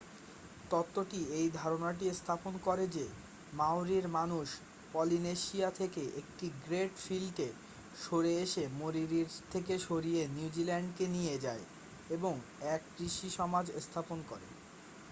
তত্ত্বটি এই ধারণাটি স্থাপন করে যে মাওরির মানুষ পলিনেশিয়া থেকে একটি গ্রেট ফ্লিটে সরে এসে মরিরি থেকে সরিয়ে নিউজিল্যান্ডকে নিয়ে যায় এবং এক কৃষি সমাজ স্থাপন করে